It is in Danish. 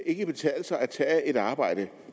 ikke betale sig at tage et arbejde